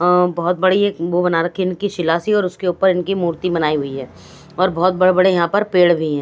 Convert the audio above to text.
अ बहुत बड़ी एक वो बना रखी इनकी शिलासी और उसके ऊपर इनकी मूर्ति बनाई हुई है और बहुत बड़े-बड़े यहाँ पर पेड़ भी हैं।